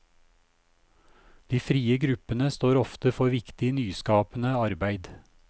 De frie gruppene står ofte for viktig nyskapende arbeid.